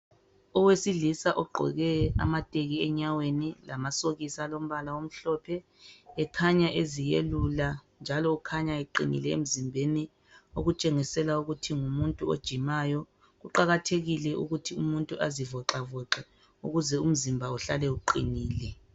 Owesilisa ogqoke amateki enyaweni lamasokisi alombala omhlophe ekhanya eziyelula njalo ukhanya eqinile emzimbeni okutshengisela ukuthi ngumuntu ojimayo kuqakathekile ukuthi umuntu azivoxavoxe ukuze umzimba uhlale uqinile.